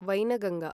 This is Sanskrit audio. वैनगङ्गा